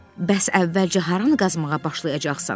Bəs əvvəlcə haranı qazmağa başlayacaqsan?